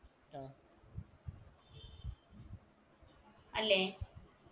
അല്ലെ